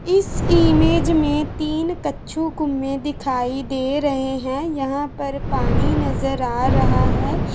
इस इमेज में तीन कच्छु दिखाई दे रहे है। यहाँ पर पानी नजर आ रहा है।